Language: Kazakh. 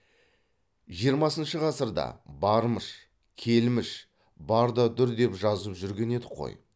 жиырмасыншы ғасырда бармыш келміш бар да дүр деп жазып жүрген едік қой